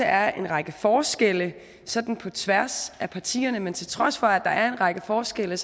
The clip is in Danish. er en række forskelle sådan på tværs af partierne men til trods for at der er en række forskelle